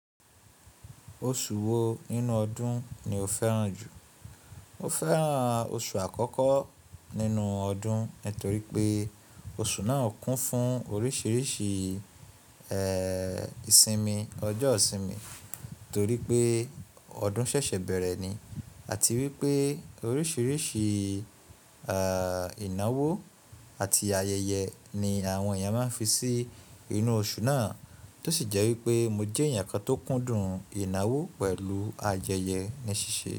Oṣù wo nínú ọdún ni o fẹ́ràn jù? Mo fẹ́ràn oṣù àkọ́kọ́ nínú ọdún, torí pé oṣù náà kún fún oríṣìíríṣìí ìsinmi, ọjọ́ ìsinmi, torí pé ọdún ṣẹ̀ṣẹ̀ bẹ̀rẹ̀ ni àti wípé oríṣìíríṣìí ìnáwó àti ayẹyẹ ni àwọn èèyàn máa ń fi sí inú oṣù náà. Tó sì jẹ́ wípé mo jẹ́ èèyàn kan tó kúndùn ìnáwó pẹ̀lú ayẹyẹ ní ṣíṣe.